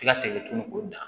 Ti ka segin tugun k'o da